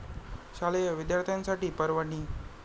शालेय विद्यार्थ्यांसाठी पर्वणी